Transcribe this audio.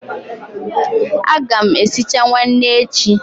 A ga m esicha nwanne echi.